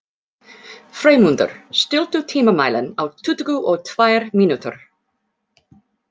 Freymundur, stilltu tímamælinn á tuttugu og tvær mínútur.